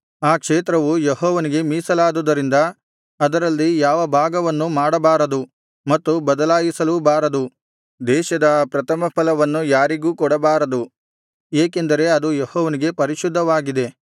ಆ ಕ್ಷೇತ್ರವು ಯೆಹೋವನಿಗೆ ಮೀಸಲಾದುದರಿಂದ ಅದರಲ್ಲಿ ಯಾವ ಭಾಗವನ್ನೂ ಮಾರಬಾರದು ಮತ್ತು ಬದಲಾಯಿಸಲೂಬಾರದು ದೇಶದ ಆ ಪ್ರಥಮ ಫಲವನ್ನು ಯಾರಿಗೂ ಕೊಡಬಾರದು ಏಕೆಂದರೆ ಅದು ಯೆಹೋವನಿಗೆ ಪರಿಶುದ್ಧವಾಗಿದೆ